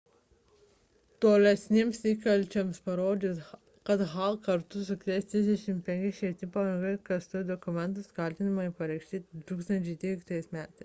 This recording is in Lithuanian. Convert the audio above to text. tolesniems įkalčiams parodžius kad hall kartu su kitais 34 švietimo pareigūnais klastojo testų dokumentus kaltinimai pareikšti 2013 m